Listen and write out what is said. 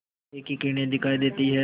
सूर्य की किरणें दिखाई देती हैं